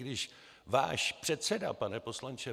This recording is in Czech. Když váš předseda, pane poslanče